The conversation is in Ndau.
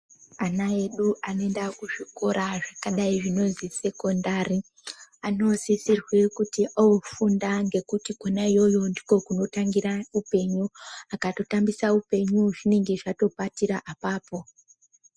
Ana edu anoenda kuzvikora zvakadai zvinozi sekondari. Anosisirwe kuti oofunda ngekuti kona iyoyo ndiko kunotangira upenyu. Akatotambisa upenyu ,zvinenge zvatopatira apapo.